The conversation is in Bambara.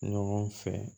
Ɲɔgɔn fɛ